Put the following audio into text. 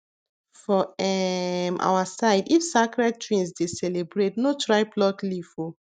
for um our side if sacred twins dey celebrate no try pluck leaf o